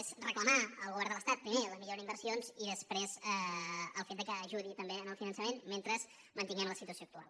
és reclamar al govern de l’estat primer la millora d’inversions i després el fet que ajudi també al finançament mentre mantinguem la situació actual